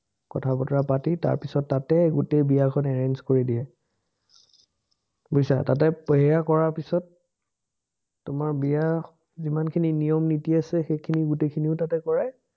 কথা-বতৰা পাতি তাৰপিচত তাতে গোটেই বিয়াখন arrange কৰি দিয়ে। বুইছা, তাতে এইয়া কৰা পাচত তোমাৰ বিয়া যিমানখিনি নিয়ম-নীতি আছে, সেইখিনি গোটেইখিনিও তাতে কৰায়,